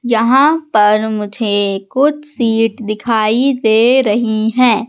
जहां पर मुझे कुछ सीट दिखाई दे रही हैं।